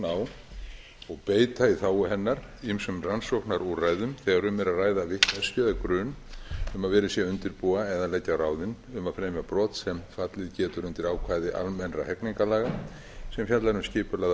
á og beita í þágu hennar ýmsum rannsóknarúrræðum þegar um er að ræða vitneskju eða grun um að verið sé að undirbúa eða leggja á ráðin um að fremja brot sem fallið getur undir ákvæði almennra hegningarlaga sem fjallar um skipulagða